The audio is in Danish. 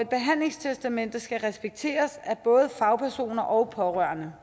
behandlingstestamentet skal respekteres af både fagpersoner og pårørende